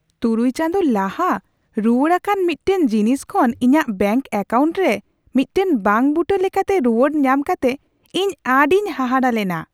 ᱖ ᱪᱟᱸᱫᱳ ᱞᱟᱦᱟ ᱨᱩᱣᱟᱹᱲ ᱟᱠᱟᱱ ᱢᱤᱫᱴᱟᱝ ᱡᱤᱱᱤᱥ ᱠᱷᱚᱱ ᱤᱧᱟᱹᱜ ᱵᱮᱝᱠ ᱮᱠᱟᱣᱩᱱᱴ ᱨᱮ ᱢᱤᱫᱴᱟᱝ ᱵᱟᱝᱼᱵᱩᱴᱟᱹ ᱞᱮᱠᱟᱛᱮ ᱨᱩᱣᱟᱹᱲ ᱧᱟᱢ ᱠᱟᱛᱮ ᱤᱧ ᱟᱹᱰᱤᱧ ᱦᱟᱦᱟᱲᱟᱜ ᱞᱮᱱᱟ ᱾